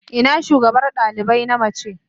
Ina shugabar dalibai na mace?